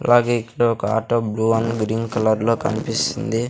అలాగే ఇక్కడ ఒక auto blue and green colour లో కనిపిస్తుంది.